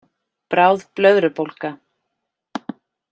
Bráð blöðrubólga